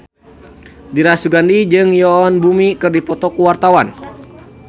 Dira Sugandi jeung Yoon Bomi keur dipoto ku wartawan